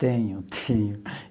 Tenho, tenho.